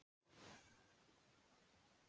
Í dag er það ekki svo.